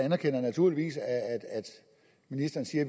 anerkender naturligvis at ministeren siger at